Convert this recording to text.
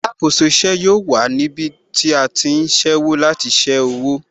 Alákòóso ìṣe yóò wà níbí tí a ti ń ṣẹ́wó láti ṣé owó